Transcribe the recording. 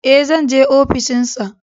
Ee, zan je ofishin sa.